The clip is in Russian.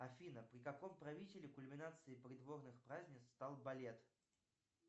афина при каком правителе кульминацией придворных празднеств стал балет